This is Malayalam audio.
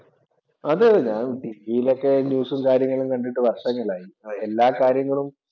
അതെയതെ ഞാനും ടിവിയിൽ ഒക്കെ ന്യൂസും കാര്യങ്ങളും കണ്ടിട്ട് വർഷങ്ങളായി. എല്ലാ കാര്യങ്ങളും